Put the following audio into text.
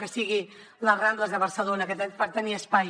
que sigui les rambles de barcelona per tenir espai